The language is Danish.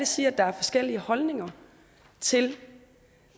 sige at der er forskellige holdninger til